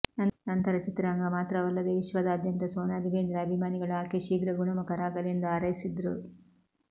ನಂತರ ಚಿತ್ರರಂಗ ಮಾತ್ರವಲ್ಲದೆ ವಿಶ್ವದಾದ್ಯಂತ ಸೋನಾಲಿ ಬೇಂದ್ರೆ ಅಭಿಮಾನಿಗಳು ಆಕೆ ಶೀಘ್ರ ಗುಣಮುಖರಾಗಲಿ ಎಂದು ಹಾರೈಸಿದ್ರು